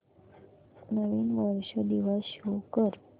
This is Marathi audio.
नवीन वर्ष दिवस शो कर